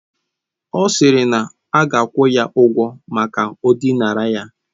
Ọ sịrị na ọ ga-akwụ ya ụgwọ maka o dinara ya.